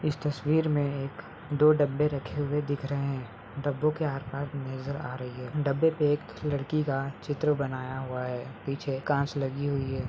इस तस्वीर में एक दो डब्बे रखे हुए दिख रहे हैं| डब्बो के आर-पार नजर आ रही है| डब्बे पे एक लड़की का चित्र बनाया हुआ है पीछे कांच लगी हुई है।